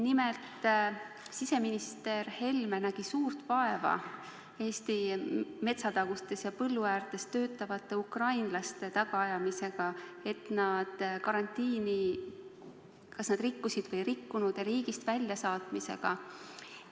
Nimelt, siseminister Helme nägi suurt vaeva Eesti metsatagustes ja põlluäärtes töötavate ukrainlaste tagaajamisega, et vaadata, kas nad karantiini rikkusid või ei rikkunud, ja nende riigist väljasaatmisega.